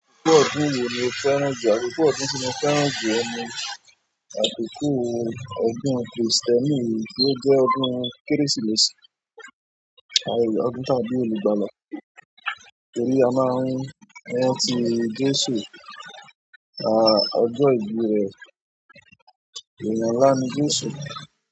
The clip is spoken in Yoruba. Akoko ọdún wo ni fẹ́ran jù, akoko ọdún ti mo fẹ́ràn ju, òun ni àkókò ọdún Krìstẹ́nì tí ó jẹ́ ọdún Kérésìmesì. Ọdún tí a bi olugbala, torí a máa ń rántí Jésù ọjọ́ ìbí rè, èèyàn ńlá ni Jésù.